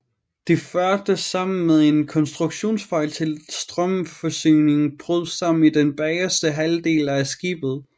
Det førte sammen med en konstruktionsfejl til at strømforsyningen brød sammen i den bageste halvdel af skibet